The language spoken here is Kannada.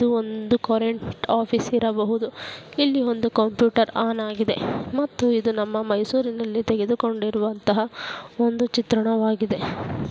ಇದು ಒಂದು ಕರೆಂಟ್ ಆಫೀಸ್ ಇರಬಹುದು ಇಲ್ಲಿ ಒಂದು ಕಂಪ್ಯೂಟರ್ ಆನ್ ಆಗಿದೆ ಮತ್ತು ಇದು ನಮ್ಮ ಮೈಸೂರಿನಲ್ಲಿ ತೆಗೋದದು ಕೊಂಡಿರುವಂತಹ ಒಂದು ಚಿತ್ರಣವಾಗಿದೆ.